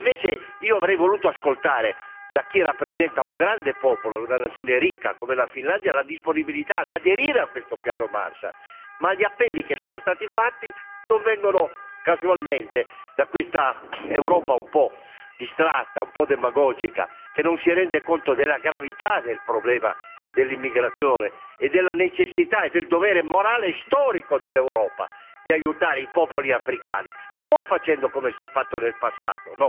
Invece, io avrei voluto ascoltare da chi rappresenta un grande popolo, una nazione ricca come la Finlandia, la disponibilità ad aderire a questo piano Marshall. Ma gli appelli lanciati non vengono casualmente da questa Europa, un po' distratta, un po' demagogica, che non si rende conto della gravità del problema dell'immigrazione e della necessità e del dovere morale e storico dell'Europa di aiutare i popoli africani, non facendo come si è fatto nel passato,